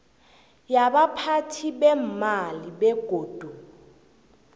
yabaphathi beemali begodu